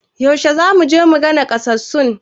Yaushe zamu je muga nakasassun?